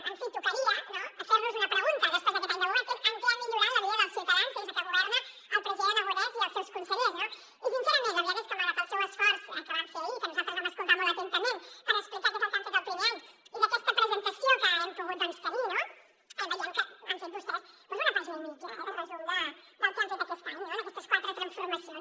en fi tocaria no fer nos una pregunta després d’aquest any de govern que és en què ha millorat la vida dels ciutadans des de que governen el president aragonès i els seus consellers no i sincerament la veritat és que malgrat el seu esforç que van fer ahir i que nosaltres vam escoltar molt atentament per explicar què és el que han fet el primer any i aquesta presentació que hem pogut tenir no veiem que han fet vostès doncs una pàgina i mitja de resum del que han fet aquest any en aquestes quatre transformacions